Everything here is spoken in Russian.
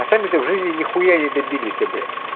а сами то в жизни нихуя не добились блять